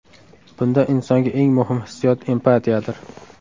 Bunda insonga eng muhim hissiyot empatiyadir.